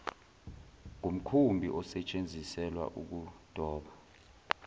ngumkhumbi osetsheziselwa ukudoba